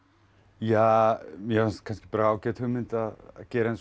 ja mér fannst kannski ágæt hugmynd að gera eins og